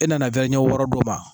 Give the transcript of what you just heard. E nana ɲɛ wɔɔrɔ d'o ma.